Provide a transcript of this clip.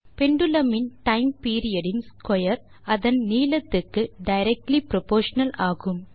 pendulum இன் time period இன் square அதன் நீளத்துக்கு டைரக்ட்லி புரொப்போர்ஷனல் ஆகும்